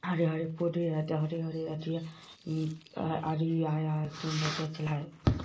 हरे हरे पौधे हैं हरे हरे अथि है अ आदमी आया है